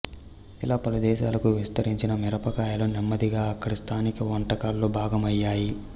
ఇలా పలుదేశాలకు విస్తరించిన మిరపకాయలు నెమ్మదిగా అక్కడి స్థానిక వంటకాల్లో భాగమయ్యాయి